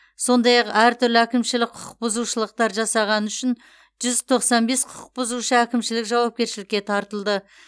сондай ақ әртүрлі әкімшілік құқық бұзушылықтар жасағаны үшін жүз тоқсан бес құқықбұзушы әкімшілік жауапкершілікке тартылды